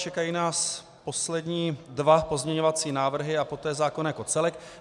Čekají nás poslední dva pozměňovací návrhy a poté zákon jako celek.